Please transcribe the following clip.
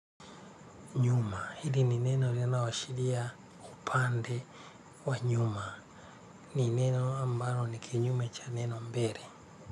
Nyuma hili ni neno linaashiria upande wa nyuma ni neno ambalo ni kinyume cha neno mbele.